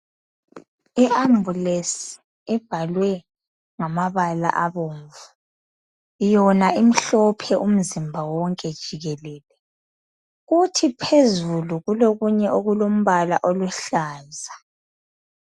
Iambulance ibhalwe ngamabala abomvu yona imhlophe umzimba wonke jikelele kuthi phezulu kulokunye okulombala oluhlaza